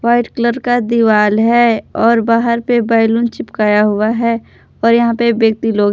white colour का दीवाल है और बाहर पे बैलून चिपकाया हुआ है और यहां पे व्यक्ति लोग--